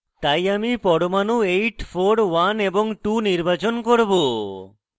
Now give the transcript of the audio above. তাই আমি পরমাণু 841 এবং 2 নির্বাচন করব